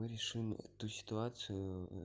мы решим эту ситуацию